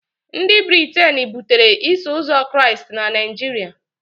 Ndị Briten butere Iso Ụzọ Kraịst na Naijiria